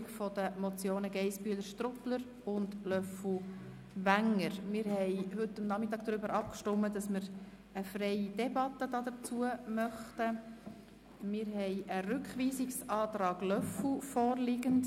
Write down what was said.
Rückweisung mit der Auflage: Die neue Polizeidirektorin oder der neue Polizeidirektor sorgt dafür, dass der Auftrag des Grossen Rates endlich ernst genommen und wenigstens der Versuch einer Umsetzung unternommen wird.